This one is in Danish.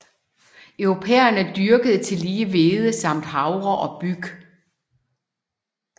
Europæerne dyrkede tillige hvede samt havre og byg